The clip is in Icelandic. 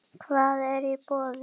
Hvað er í boði?